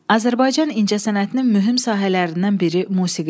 Azərbaycan incəsənətinin mühüm sahələrindən biri musiqidir.